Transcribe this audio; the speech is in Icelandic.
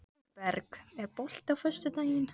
Ingberg, er bolti á föstudaginn?